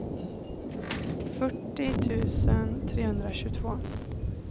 fyrtio tusen trehundratjugotvå